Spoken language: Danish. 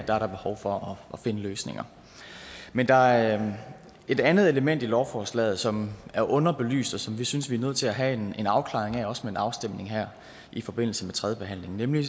der er der behov for at finde løsninger men der er et andet element i lovforslaget som er underbelyst og som vi synes at vi er nødt til at have en afklaring af også med en afstemning her i forbindelse med tredjebehandlingen nemlig